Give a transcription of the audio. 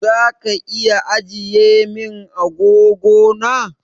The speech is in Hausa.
Zaka iya ajiye min agogo na?